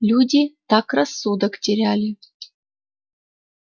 люди так рассудок теряли